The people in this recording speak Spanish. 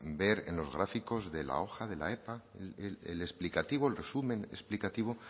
ver en los gráficos de la hoja de la epa en el resumen explicativo